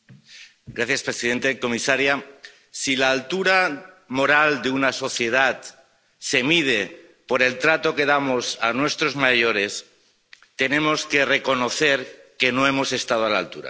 Señor presidente, señora comisaria, si la altura moral de una sociedad se mide por el trato que damos a nuestros mayores, tenemos que reconocer que no hemos estado a la altura.